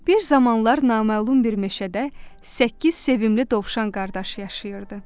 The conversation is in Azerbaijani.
Bir zamanlar naməlum bir meşədə səkkiz sevimli dovşan qardaşı yaşayırdı.